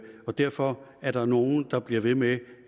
og derfor er der nogle der bliver ved med